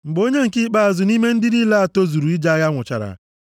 Mgbe onye nke ikpeazụ nʼime ndị niile a tozuru ije agha nwụchara,